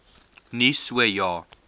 nie so ja